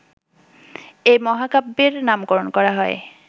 এই মহাকাব্যের নামকরণ করা হয়